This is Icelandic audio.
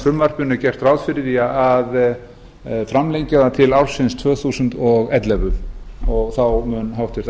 frumvarpinu er gert ráð fyrir því að framlengja það til ársins tvö þúsund og ellefu þá mun háttvirtu